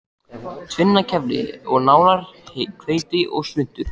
Tvinnakefli og nálar, hveiti og svuntur.